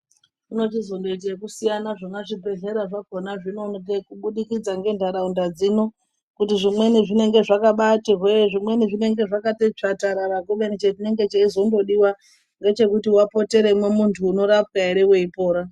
Zvinozondoite kusiyana zvona zvibhedhlera zvakonazvo kubudikidza ngendaraunda dzino kuti zvimweni zvinenge zvakabaati hwee zvimweni zvinenge zvakati tsvatarara kubeni chinenge chaizondodiwa ngechekuti wapoteremo muntu unorapwa ere weipora.